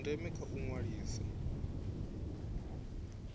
dza ndeme kha u ṅwalisa